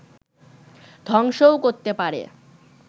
ধ্বংসও করতে পারে